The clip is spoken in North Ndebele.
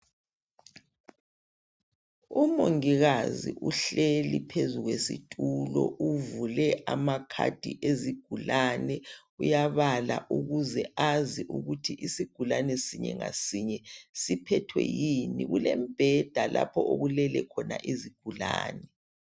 Umongikazi uhleli phezu kwesitulo uvule amakhadi ezigulane uyabhala ukuze azi ukuthi isigulane sinye ngasinye siphethwe yini. Kulemibheda lapho okulele khona izigulane.